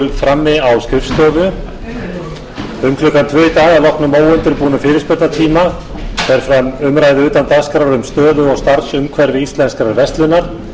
um klukkan tvö í dag að loknum óundirbúnum fyrirspurnatíma fer fram umræða utan dagskrár um stöðu og starfsumhverfi íslenskrar verslunar